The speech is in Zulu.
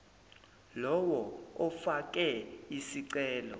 lowo ofake isicelo